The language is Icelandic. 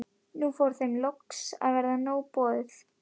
Nú fór þeim loks að verða nóg boðið.